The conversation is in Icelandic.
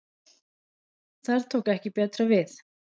Þar tók ekki betra við